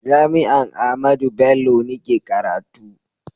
jami'an Ahmadu Bello ni ke karatu